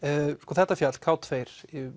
þetta fjall k tveggja